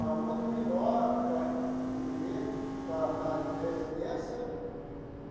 É muito melhor ela eles viver na na residência.